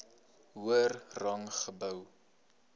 hoër rang gehou